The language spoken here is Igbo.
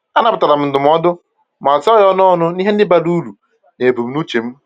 A nabatara m ndụmọdụ, ma tụọ ya ọnụ ọnụ na ihe ndi bara uru na ebumnuche m.